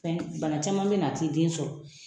Bana caman bɛ na a t'i den sɔrɔ